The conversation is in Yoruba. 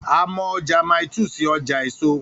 A mọ ọjà Mile 2 sí ọjà èso